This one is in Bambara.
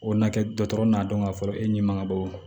O na kɛ dɔgɔtɔrɔ n'a dɔn ka fɔ e ɲɛ maŋa bɔ